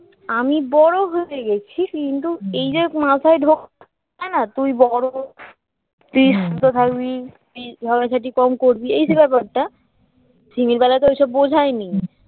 আমি বড় হয়ে গেছি কিন্তু এই যে মাথায় ঢোকা না তুই বড় তুই শুনতে থাকবি তুই ঝগড়া ঝাটি কম করবি এই যে ব্যাপারটা সিমির বেলায় তো এই সব বোঝায়নি